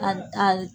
A a